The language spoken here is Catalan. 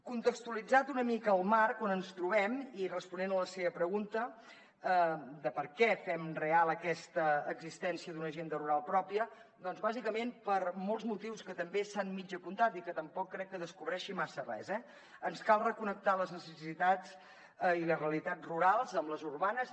contextualitzat una mica el marc on ens trobem i responent a la seva pregunta de per què fem real aquesta existència d’una agenda rural pròpia doncs bàsicament per molts motius que també s’han mig apuntat i que tampoc crec que descobreixi massa res eh ens cal reconnectar les necessitats i les realitats rurals amb les urbanes